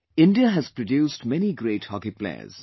India has produced many great hockey players